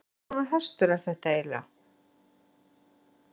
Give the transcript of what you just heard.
Hvers konar hestur er þetta eiginlega?